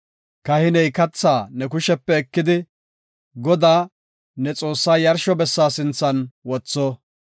Kahiney kathaa ne kushepe ekidi, Godaa ne Xoossaa yarsho bessa sinthan wotho.